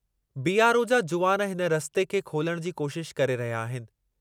BRO जा जुवान हिन रस्ते खे खोलणु जी कोशिशु करे रहिया आहिनि।